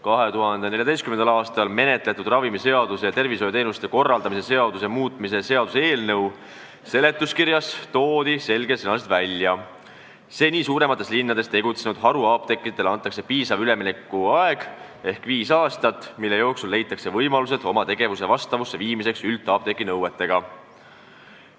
2014. aastal menetletud ravimiseaduse ja tervishoiuteenuste korraldamise seaduse muutmise seaduse eelnõu seletuskirjas on selgesõnaliselt kirjas: "Seni suuremates linnades tegutsenud haruapteekidele antakse piisav üleminekuaeg , mille jooksul leitakse võimalused oma tegevuse vastavusse viimiseks üldapteegi nõuetega.